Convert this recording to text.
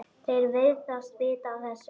Þeir virðast vita af þessu.